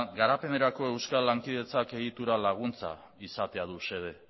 garapenerako euskal lankidetzak egitura laguntza izatea du xede